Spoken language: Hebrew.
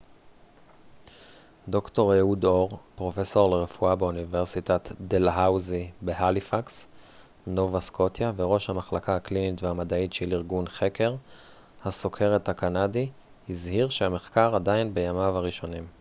ד ר אהוד אור פרופסור לרפואה באוניברסיטת דלהאוזי בהליפקס נובה סקוטיה וראש המחלקה הקלינית והמדעית של ארגון חקר הסוכרת הקנדי הזהיר שהמחקר עדיין בימיו הראשונים